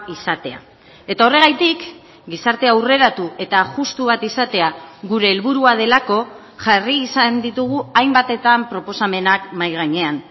izatea eta horregatik gizarte aurreratu eta justu bat izatea gure helburua delako jarri izan ditugu hainbatetan proposamenak mahai gainean